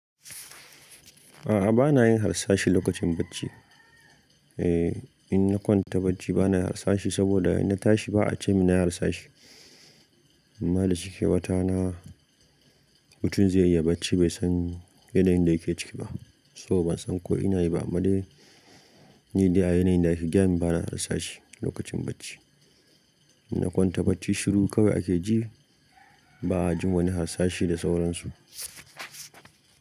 A'a bana yin harsashi lokacin bacci. Eh, in na kwanta bacci bana harsashi saboda in na tashi ba a ce min na yi harsashi. Amma da cike watana, mutum zai iya bacci bai san yanayin da yake ciki ba saboda ban san ko ina yi ba amma dai ni dai a yanayin da ake gayamin bana harsashi lokacin bacci. In na kwanta bacci shiru kawai ake ji ba a ji wani harsashi da sauransu.